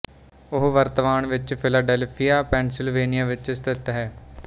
ਉਹ ਵਰਤਮਾਨ ਵਿੱਚ ਫਿਲਾਡੈਲਫ਼ੀਆ ਪੈਨਸਿਲਵੇਨੀਆ ਵਿੱਚ ਸਥਿਤ ਹੈ